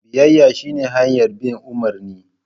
Biyayya shine hanyar bin umarni.